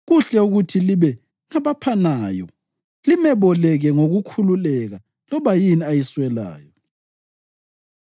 Kuhle ukuthi libe ngabaphanayo limeboleke ngokukhululeka loba yini ayiswelayo.